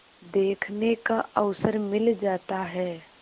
देखने का अवसर मिल जाता है